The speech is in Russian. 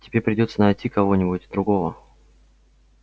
тебе придётся найти кого-нибудь другого